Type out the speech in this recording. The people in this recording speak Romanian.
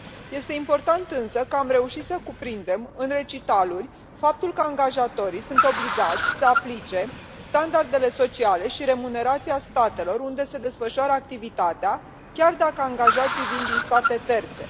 Este important însă că am reușit să cuprindem în recitaluri faptul că angajatorii sunt obligați să aplice standardele sociale și remunerația statelor unde se desfășoară activitatea, chiar dacă angajații vin din state terțe.